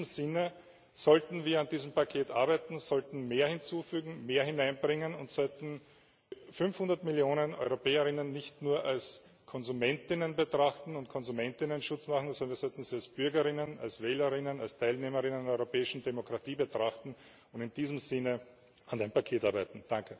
In diesem Sinne sollten wir an diesem Paket arbeiten, sollten mehr hinzufügen, mehr hineinbringen und sollten die 500 Millionen EuropäerInnen nicht nur als KonsumentInnen betrachten und KonsumentInnenschutz machen, sondern wir sollten sie als BürgerInnen, als WählerInnen, als TeilnehmerInnen an der europäischen Demokratie betrachten und in diesem Sinne an dem Paket arbeiten.